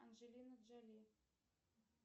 анджелина джоли